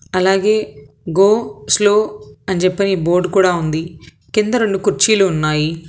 అలాగే go slow అని చెప్పి బోర్డు కూడా ఉంది కింద రెండు కుర్చీలు ఉన్నాయి.